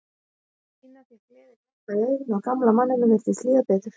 Stína fékk gleðiglampa í augun og gamla manninum virtist líða betur.